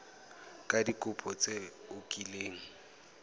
ka dikopo tse o kileng